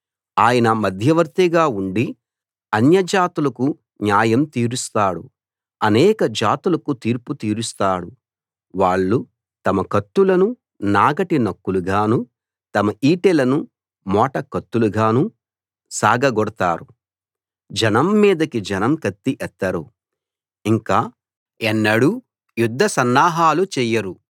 ఆయన మధ్యవర్తిగా ఉండి అన్యజాతులకు న్యాయం తీరుస్తాడు అనేక జాతులకు తీర్పు తీరుస్తాడు వాళ్ళు తమ కత్తులను నాగటి నక్కులుగానూ తమ ఈటెలను మోట కత్తులుగానూ సాగగొడతారు జనం మీదకి జనం కత్తి ఎత్తరు ఇంక ఎన్నడూ యుద్ధ సన్నాహాలు చెయ్యరు